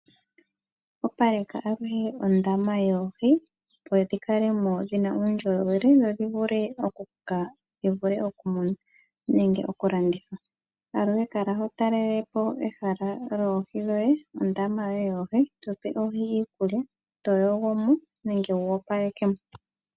Opaleka aluhe ondama yoohi opo dhikalemo dhina uundjolowele dhodhi vule okukoka dhivule okum nenge okulandithwa . Kala ho talelepo ehala lyoohi dhoye ondama yoye yoohi todhipe iikulya toyogomo nenge topalekemo.